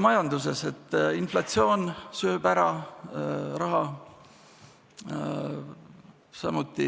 Majanduses inflatsioon sööb raha ära, samuti